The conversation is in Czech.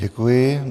Děkuji.